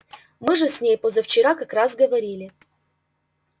мы же с ней позавчера как раз говорили